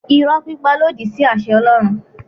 Irọ́ pípa lòdì sí àṣẹ Ọlọ́run.